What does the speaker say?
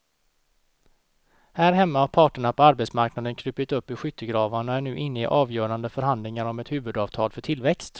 Här hemma har parterna på arbetsmarknaden krupit upp ur skyttegravarna och är nu inne i avgörande förhandlingar om ett huvudavtal för tillväxt.